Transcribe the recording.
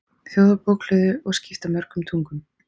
Þjóðarbókhlöðu og skipta mörgum tugum.